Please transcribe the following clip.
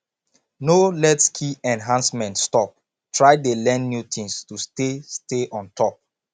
no let skill enhancement stop try dey learn new things to stay stay on top